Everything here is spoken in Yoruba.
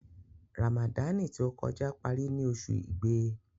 Ràmàdáànì tí ó kọjá parí ní oṣù Igbe.'